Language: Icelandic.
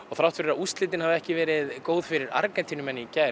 þrátt fyrir að úrslitin hafi ekki verið góð fyrir Argentínu í gær